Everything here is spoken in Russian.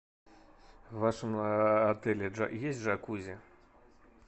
в вашем отеле есть джакузи